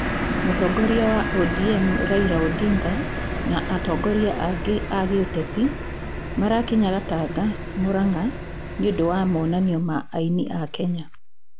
Mũtongoria wa ODM Raila Odinga na atongoria angĩ a gĩũteti marakinya Gatanga, Murang'a nĩ ũndũ wa monanio ma aini a Kenya.